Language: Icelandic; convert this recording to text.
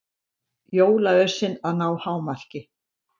Jólaösin að ná hámarki